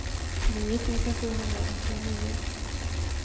nio tusen sjuhundranittionio